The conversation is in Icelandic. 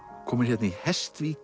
komin hérna í